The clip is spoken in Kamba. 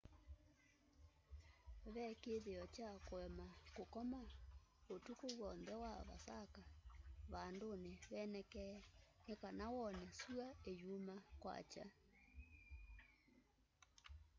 ve kĩĩthĩo kya kũema kukoma ũtukũ wonthe wa vasaka vandũnĩ venekee nĩ kana wone syũa ĩyuma kwakya